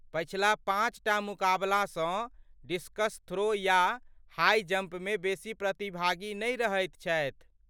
पछिला पाँच टा मुकाबलासँ डिस्कस थ्रो या हाई जंपमे बेसी प्रतिभागी नहि रहथि छथि।